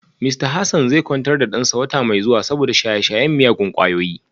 Mista Hassan zai kwantar da dansa wata mai zuwa saboda shaye-shayen miyagun kwayoyi